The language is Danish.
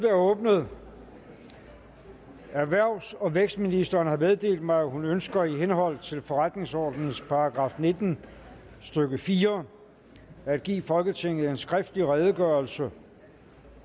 er åbnet erhvervs og vækstministeren har meddelt mig at hun ønsker i henhold til forretningsordenens § nitten stykke fire at give folketinget en skriftlig redegørelse